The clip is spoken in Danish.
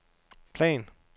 plan